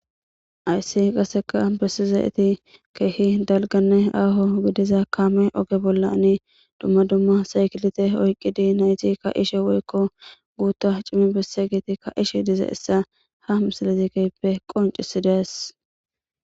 ayssi qaseka bessizaeti keehi dalganne aaho gidiza kaame oge bolla ani dumma dumma saykilite oyqidi naytikka ishe woykko guutta cimi besse giitikka ishe dize issa ha misalazikeppe qoncisidees